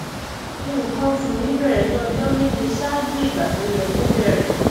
nǹkan oṣù mi bẹrẹ ní ọjọ méje ṣáájú ìgbà tó yẹ kó bẹrẹ